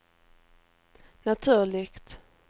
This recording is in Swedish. naturligt